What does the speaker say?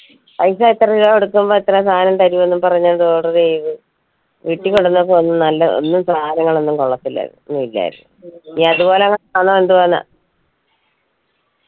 പൈസ എത്ര രൂപ കൊടുക്കുമ്പോ എത്ര സാനം തരുമെന്ന് പറഞ്ഞു order ചെയ്ത് വീട്ടി കൊണ്ടന്നപ്പോ ഒന്ന് നല്ല ഒന്നു സാനങ്ങളൊന്നും കൊള്ളത്തില്ലായിരുന്നു ഇനി അതുപോലത്തെങ്ങതെ ആണോ എന്തോന്ന്